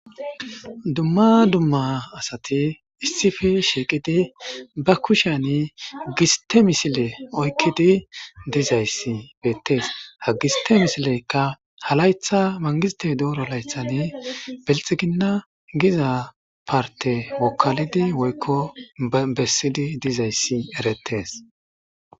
Dumma dumma asati issippe shiqqidi ba kushshen gistte misille oykkidi diizassi bettes ha giste missileyka ha layththa mangiste dooro layththan bilxxigina giza partte wokalidi woykko bessidi diizayssi erettes.